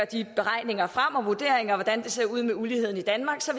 de beregninger og vurderinger af hvordan det ser ud med uligheden i danmark så